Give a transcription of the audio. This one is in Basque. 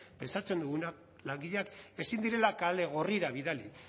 pentsatzen duguna langileak ezin direla kale gorrira bidali